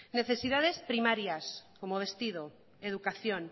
necesidades primarias como vestido educación